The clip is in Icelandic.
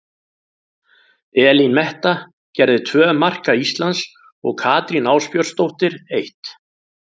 Elín Metta gerði tvö marka Íslands og Katrín Ásbjörnsdóttir eitt.